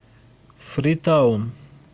фритаун